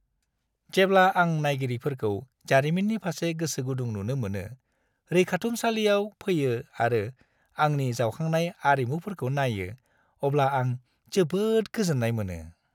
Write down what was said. जेब्ला आं नायगिरिफोरखौ जारिमिननि फारसे गोसोगुदुं नुनो मोनो, रैखाथुमसालियाव फैयो आरो आंनि जावखांनाय आरिमुफोरखौ नायो, अब्ला आं जोबोद गोजोन्नाय मोनो।